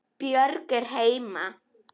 Björg er heima.